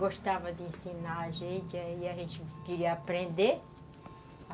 gostava de ensinar a gente, aí a gente queria aprender.